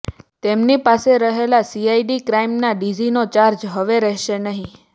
તેમની પાસે રહેલો સીઆઈડી ક્રાઈમના ડીજીનો ચાર્જ હવે રહેશે નહીં